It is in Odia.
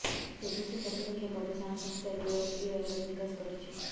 ସ୍ବଦେଶୀ ପ୍ରତିରକ୍ଷା ଗବେଷଣା ସଂସ୍ଥା ଡିଆରଡିଓ ଏହାର ବିକାଶ କରିଛି